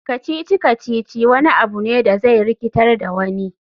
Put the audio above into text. Kacici-kacici wani abu ne da zai rikitar da wani.